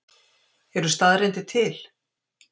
Eru staðreyndir til?